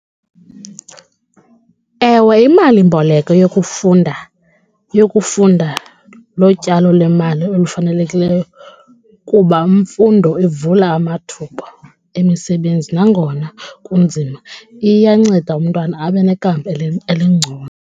Ewe, imalimboleko yokufunda yokufunda lotyalo lwemali olufanelekileyo kuba mfundo ivula amathuba emisebenzi nangona kunzima iyanceda umntwana abe nekamva elingcono.